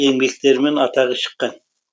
еңбектерімен атағы шыққан